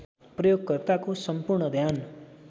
प्रयोगकर्ताको सम्पूर्ण ध्यान